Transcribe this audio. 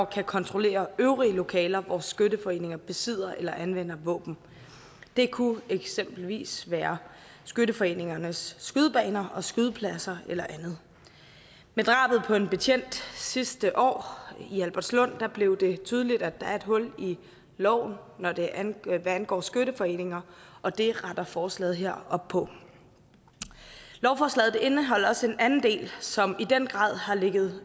kan kontrollere øvrige lokaler hvor skytteforeninger besidder eller anvender våben det kunne eksempelvis være skytteforeningernes skydebaner skydepladser eller andet med drabet på en betjent sidste år i albertslund blev det tydeligt at der er et hul i loven hvad angår hvad angår skytteforeninger og det retter forslaget her op på lovforslaget indeholder også en anden del som i den grad har ligget